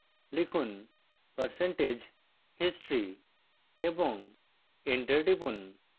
লিখুন percentage history এবং enter টিপুন